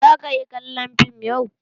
Za ka yi kallon fim yau?